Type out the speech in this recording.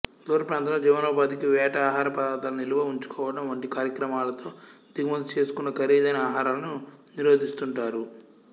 దూరప్రాంతంలో జీవనోపాధికి వేట ఆహార పదార్ధాల నిలువ ఉంచుకోవడం వంటి కార్యక్రమాలతో దిగుమతి చేసుకున్న ఖరీదైన ఆహారాలను నిరోధిస్తుంటారు